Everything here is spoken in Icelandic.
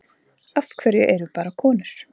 Af hverju eru bara konur?